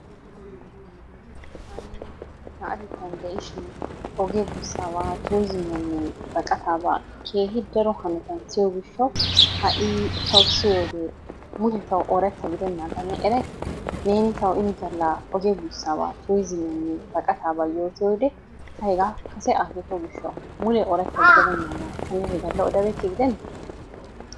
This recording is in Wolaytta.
Taani na'atettn de'ishin ogiya buussaabaa turizzimiyanne baqqataabaa keehi daro hanotan siyo gishshawu ha'i tawu siyogee mule tawu ooratta giddenaaga ne eray? Neeni tawu ini galla ogiya yuussabaa turizzimiyanne baqqataabaa yoottiyode ta hegaa kase akeekko gishshawu mule oorata gidenaaga ta niyo he galla odabeykke gidenee ?